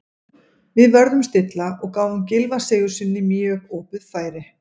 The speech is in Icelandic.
Við vörðumst illa og gáfum Gylfa Sigurðssyni mjög opið færi.